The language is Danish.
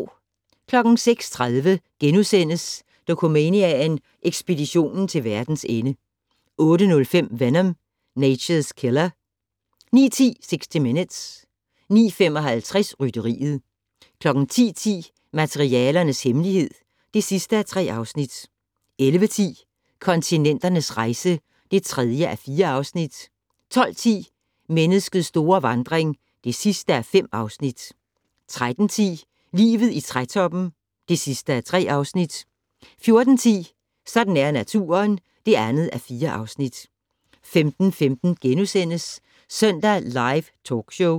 06:30: Dokumania: Ekspeditionen til verdens ende * 08:05: Venom: Nature's Killer 09:10: 60 Minutes 09:55: Rytteriet 10:10: Materialernes hemmelighed (3:3) 11:10: Kontinenternes rejse (3:4) 12:10: Menneskets store vandring (5:5) 13:10: Livet i trætoppen (3:3) 14:10: Sådan er naturen (2:4) 15:15: Søndag Live Talkshow *